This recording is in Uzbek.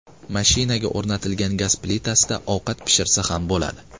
Mashinaga o‘rnatilgan gaz plitasida ovqat pishirsa ham bo‘ladi.